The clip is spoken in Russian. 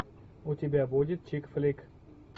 у тебя будет чик флик